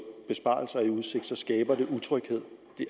besparelser i udsigt skaber det utryghed